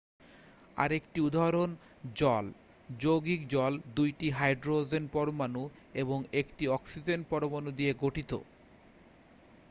আরেকটি উদাহরণ জল যৌগিক জল 2টি হাইড্রোজেন পরমাণু এবং 1টি অক্সিজেন পরমাণু নিয়ে গঠিত